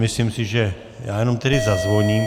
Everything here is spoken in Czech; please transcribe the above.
Myslím si, že... já jenom tedy zazvoním.